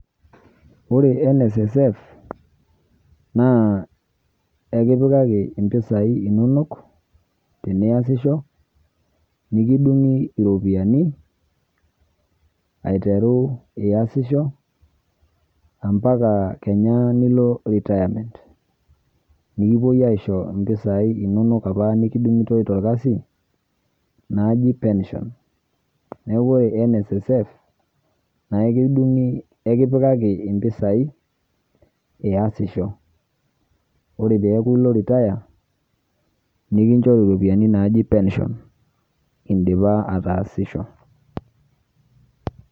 Ore NSSF, naa enkipikaki impisai inonok, teniasisho, nikidung'i iropiyiani, aiteru iasisho, ampaka kenya nilo retirement. Nikipoi aisho impisai inonok apa nikidung'itoi torkasi, naaji pension. Neeku ore NSSF, na ekidung'i ekipikaki impisai, iyasisho. Ore peeku ilo retire, nikinchori ropiyaiani naaji pension, idipa ataasisho.